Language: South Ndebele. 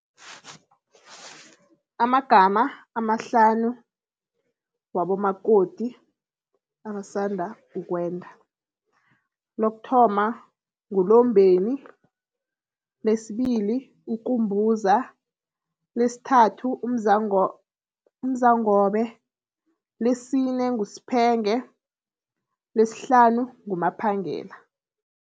Amagama amahlanu wabomakoti abasanda ukwenda. Lokuthoma nguLombeni, lesibili uKumbuza, lesthathu uMzangobe, lesine nguSphenge, leshlanu nguMaphangela.